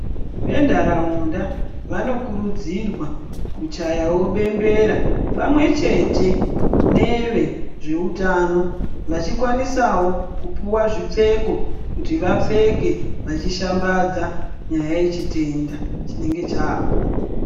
Ventaraunda vanokurudzirwa kuchayawo bembera pamwechete nevezveutano vacikwanisawo kupuwa zvipfeko kuti vapfeke vachishambadza nyaya yechitenda chinenge chaapo.